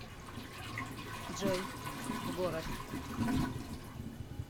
джой в город